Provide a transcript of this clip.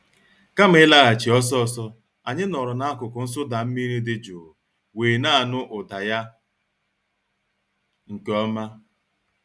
Kama ịlaghachi ọsọ ọsọ, anyị nọọrọ n'akụkụ nsụda mmiri dị jụụ wee na-anụ ụda ya nke ọma.